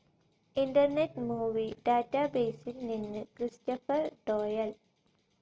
internet movie ഡാറ്റാബേസിൽ നിന്ന് Christopher ഡോയൽ